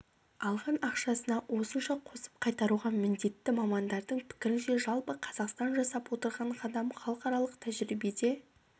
алған ақшасына осынша қосып қайтаруға міндетті мамандардың пікірінше жалпы қазақстан жасап отырған қадам халықаралық тәжірибеде